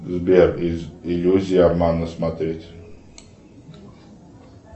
сбер иллюзия обмана смотреть